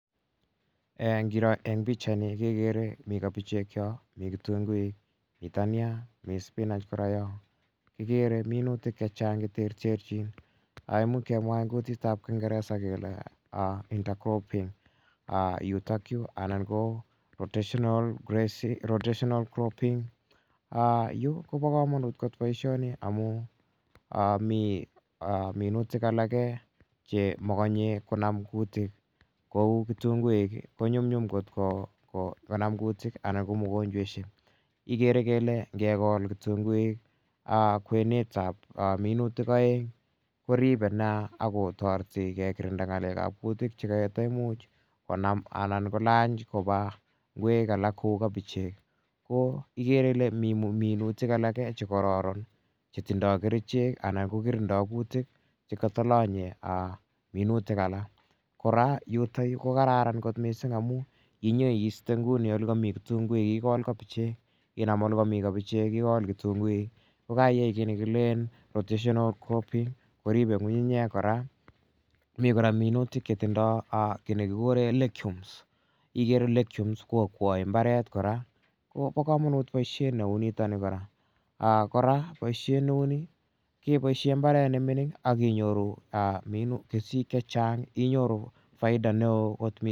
Ngiro eng' pichaini kekere ni kabechek yo, mi kitunguik, mi dania, mi spianch kora yo. Kikere minutik che chang' che terterchin. Imuch kemwa eng' kutit ap kingeresa kele inter cropping yutakyu anan ko rotational cropping. Yu ko pa kamanut kot poishoni amu mi minutik alake che makanye konam kutiik kou kitunguik ko nyumnyum kot konam kutik anan ko mogonchweshek. Ikere kele ngekol kitunguik kwenut ap minutik aeng' koripe nea ako tareti ko kirinda ng'alek ap kutik che kataimuch konam anan kolany kopa ngwek alak kou kabechek. Ko ikere ile mi minutik alake che kararan che tindai kerichek anan ko korindak kitiik che kata lanye mibutik alak. Kora yutayu ko kararan kot missing' amu inye iiste nguni ole kami kitunguik ikol kabechek. Inam ole kami kabechek ikol kitunguik ko kaiyai ki ne kileen rotational cropping, ko ripe ng'ung'unyek kora. Mi kora minutik che tindai ki ne kikure legumes ikere legumes ko akwai mbaret kora. Ko pa kamanut poishet ne u nitani kora. Kora poishet ne u ni kepoishe mbaret ne mining' ak inyoru kesiik chang', inyoru faida neo kot missing'.